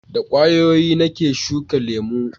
da ƙwayoyi na ke shuka lemo